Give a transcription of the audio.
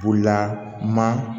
Bolila ma